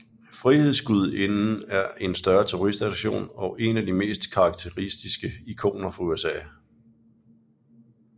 Frihedsgudinden er en større turistattraktion og en af de mest karakteristiske ikoner for USA